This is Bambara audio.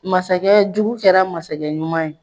Masakɛ jugu kɛra masakɛ ɲuman ye